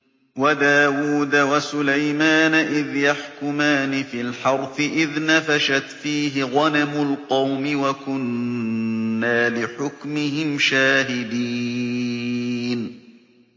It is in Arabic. وَدَاوُودَ وَسُلَيْمَانَ إِذْ يَحْكُمَانِ فِي الْحَرْثِ إِذْ نَفَشَتْ فِيهِ غَنَمُ الْقَوْمِ وَكُنَّا لِحُكْمِهِمْ شَاهِدِينَ